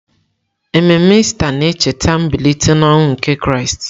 Ememe Ista na-echeta mbilite n'ọnwụ nke Kraịst.